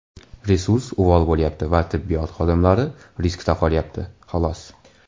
Resurs uvol bo‘lyapti va tibbiyot xodimlari riskda qolyapti, xolos.